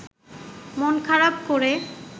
মন খারাপ করে